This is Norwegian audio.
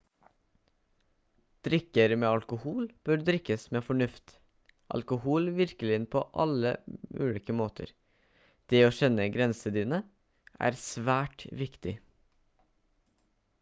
drikker med alkohol bør drikkes med fornuft alkohol virker inn på alle på ulike måter det å kjenne grensene dine er svært viktig